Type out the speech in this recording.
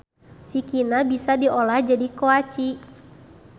Sikina bisa diolah jadi koaci.